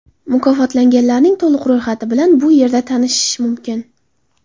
Mukofotlanganlarning to‘liq ro‘yxati bilan bu yerda tanishish mumkin .